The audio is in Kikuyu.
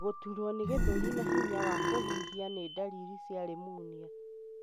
Gũturwo nĩ gĩthuri na hinya wa kũhuhia ni ndariri cia pneumonia.